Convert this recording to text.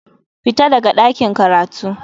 Fita daga ɗakin karatu.